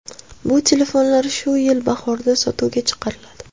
Bu telefonlar shu yil bahorda sotuvga chiqariladi.